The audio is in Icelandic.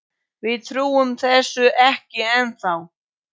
Við trúum þessu ekki ennþá.